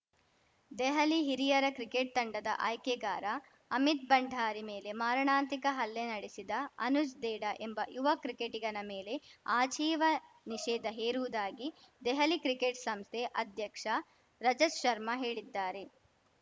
ದೆಹಲಿ ಹಿರಿಯರ ಕ್ರಿಕೆಟ್‌ ತಂಡದ ಆಯ್ಕೆಗಾರ ಅಮಿತ್‌ ಭಂಡಾರಿ ಮೇಲೆ ಮಾರಣಾಂತಿಕ ಹಲ್ಲೆ ನಡೆಸಿದ ಅನುಜ್‌ ದೇಢಾ ಎಂಬ ಯುವ ಕ್ರಿಕೆಟಿಗನ ಮೇಲೆ ಆಜೀವ ನಿಷೇಧ ಹೇರುವುದಾಗಿ ದೆಹಲಿ ಕ್ರಿಕೆಟ್‌ ಸಂಸ್ಥೆ ಅಧ್ಯಕ್ಷ ರಜತ್‌ ಶರ್ಮಾ ಹೇಳಿದ್ದಾರೆ